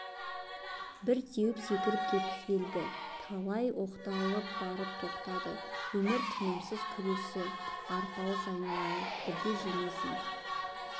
бір теуіп секіріп кеткісі келді талай оқталып барып тоқтады өмір тынымсыз күресі арпалыс айналайын бірде жеңесің